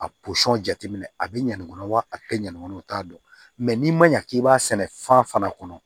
A jateminɛ a bɛ ɲangɔ kɔnɔ wa a tɛ ɲɛnama o t'a dɔn mɛ n'i ma ɲa k'i b'a sɛnɛ fan fana kɔnɔ